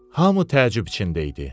Hamı təəccüb içində idi.